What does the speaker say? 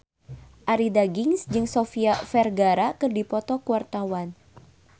Arie Daginks jeung Sofia Vergara keur dipoto ku wartawan